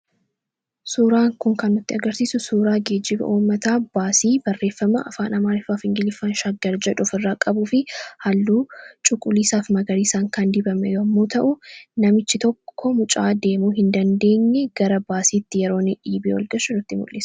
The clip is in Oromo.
Suuraan kun kan nutti agarsiisu suuraa geejjiba uummataa baasii afaan ingiliffaa fi amaariffaan shaggar jedhu ofirraa qabuu fi halluu cuquliisaa fi magariisaan kan dibame yommuu ta'u, namichi tokko mucaa deemuu hin dandeenye yeroo dhiibee ol galchu nutti mul'isa.